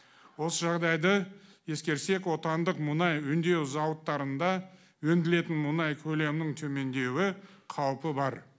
осы жағдайды ескерсек отандық мұнай өңдеу зауыттарында өңделетін мұнай көлемін төмендеуі қаупі бар